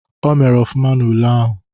O mere ọfụma n'ule ahụ.